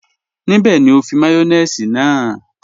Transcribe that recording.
Níbẹ̀ ni o fi màyọ̀nèṣì náà?